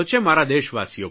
મારા દેશવાસીઓ પર